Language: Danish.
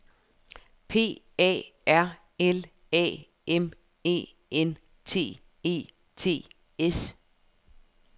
P A R L A M E N T E T S